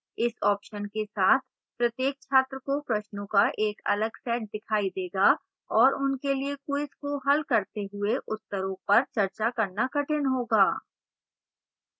इस option के साथ प्रत्येक छात्र को प्रश्नों का एक अलग set दिखाई देगा और उनके लिए quiz को हल करते हुए उत्तरों पर चर्चा करना कठिन होगा